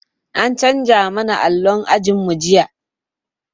An canza mana allo ajin mu jiya